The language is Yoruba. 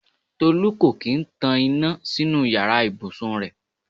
Tolú kò kín ń tan iná sínú yàrá ìbùsùn rẹ̀.